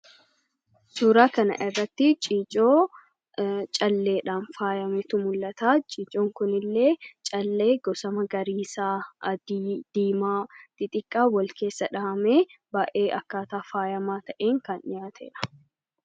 Suuraa kana irratti ciicoo calleedhaan faayametu mul'ata. Ciicoon Kun illee callee gosa magariisaa , adii, diimaa xixiqqaa wal keessa dhahamee baayyee akkaataa faayamaa ta'een kan dhihaatedha.